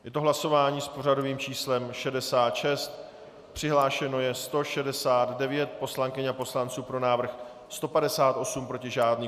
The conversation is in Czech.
Je to hlasování s pořadovým číslem 66, přihlášeno je 169 poslankyň a poslanců, pro návrh 158, proti žádný.